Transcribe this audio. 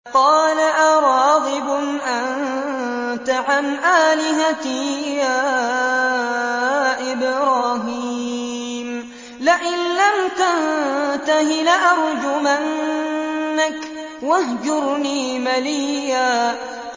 قَالَ أَرَاغِبٌ أَنتَ عَنْ آلِهَتِي يَا إِبْرَاهِيمُ ۖ لَئِن لَّمْ تَنتَهِ لَأَرْجُمَنَّكَ ۖ وَاهْجُرْنِي مَلِيًّا